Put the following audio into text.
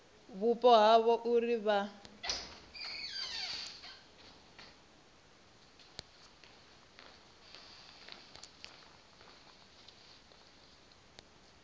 vhupo ha havho uri vha